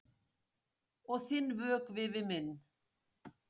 Og þinn vökvi við minn.